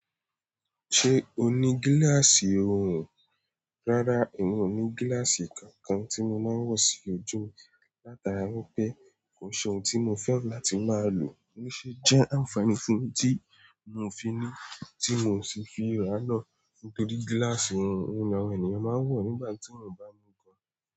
Ṣe o ní gíláàsì oòrùn? Rárá èmi ò ní gíláàsì kankan tí mo máa wo sí ojú, lataara wípé kò ṣe ohun tí mo fẹ́ràn láti máa loo lose ṣe jẹ́ àǹfààní fún mi tí mi ò fi ni, tí mi ò sì fi raa náà nítorí gíláàsì ni àwọn ènìyàn máa wo nígbà tii.